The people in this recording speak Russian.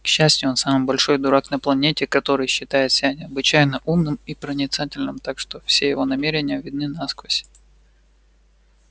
к счастью он самый большой дурак на планете который считает себя необычайно умным и проницательным так что все его намерения видны насквозь